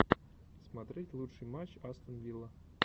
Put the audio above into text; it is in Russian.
смотреть лучший матч астон вилла